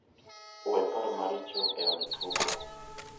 We paro maricho e od tugo.